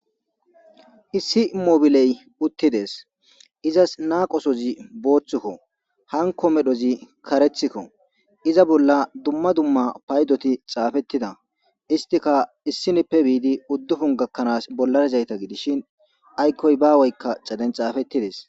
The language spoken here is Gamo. Issi mobiley uttides izas naaqosozi booththukko hanko medhozi karethikko iza bolla dumma dumma paydoti xaafettida istika issinippe biidi uddufun gakkanaas bollarizayta gidishin aykkoy bawoykka caden xaafettides.